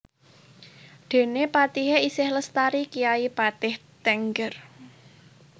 Déné patihé isih lestari kyai patih Tengger